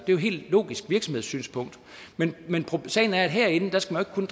jo et helt logisk virksomhedssynspunkt men sagen er at herinde skal man